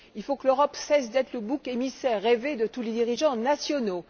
Il faut que l'Europe cesse d'être le bouc émissaire rêvé de tous les dirigeants nationaux.